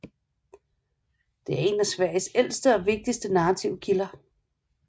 Det er en af Sveriges ældste og vigtigste narrative kilder